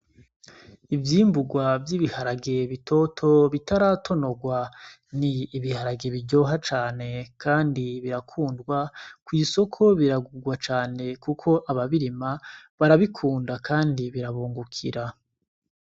Ivyimbugwa vy'ibiharage bitoto bitaratonogwa ni ibiharage biryoha cane kandi birakundwa kw'isoko biragugwa cane kuko ababirima barabikunda kandi birabungukira.